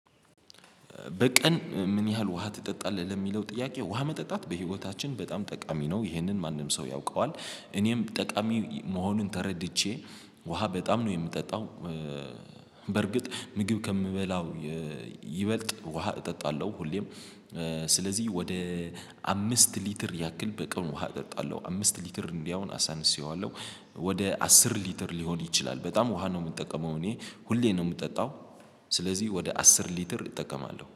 "በቀን ምን ያህል ውሃ ትጠጣለህ?" ለሚለው ጥያቄ፤ ውሃ መጠጣት በህይወታችን በጣም ጠቃሚ ነው። ይህንን ማንም ሰው ያውቀዋል። እኔም ጠቃሚ መሆኑን ተረድቼ፤ ውሃ በጣም ነው የምጠጣው። ምግብ ከምበላው ይበልጥ ውሃ እጠጣለሁ። ሁሌም ስለዚህ ወደ አምስት ሊትር ያክል በቀን ውሃ እጠጣለሁ። አምስት ሊትር እንዲያውም አሳንሼየዋለሁ፤ ወደ አስር ሊትር ሊሆን ይችላል። በጣም ውሃ ነው የምጠቀመው እኔ ሁሌ ነው የምጠጣው። ስለዚህ ወደ አስር ሊትር እጠቀማለሁ።